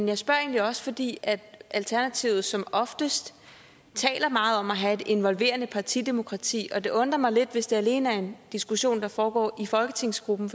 jeg spørger egentlig også fordi alternativet som oftest taler meget om at have et involverende partidemokrati og det undrer mig lidt hvis det her alene er en diskussion der foregår i folketingsgruppen